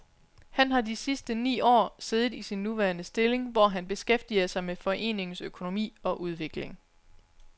Han har de sidste ni år siddet i sin nuværende stilling, hvor han beskæftiger sig med foreningens økonomi og udvikling.